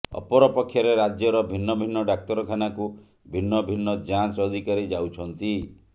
ଅପରପକ୍ଷରେ ରାଜ୍ୟର ଭିନ୍ନ ଭିନ୍ନ ଡାକ୍ତରଖାନାକୁ ଭିନ୍ନ ଭିନ୍ନ ଯାଞ୍ଚ ଅଧିକାରୀ ଯାଉଛନ୍ତି